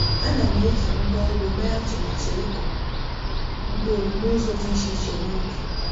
Ana m eji ngwa ugbo mee atụmatụ ịkụ mkpụrụ n'ụzọ dị iche iche n’ubi.